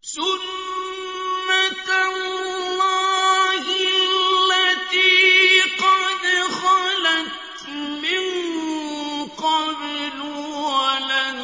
سُنَّةَ اللَّهِ الَّتِي قَدْ خَلَتْ مِن قَبْلُ ۖ وَلَن